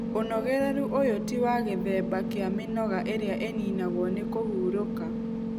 Ũnogereru ũyũ ti wa gĩthemba kĩa mĩnoga ĩrĩa ĩninagwo nĩ kũhurũka.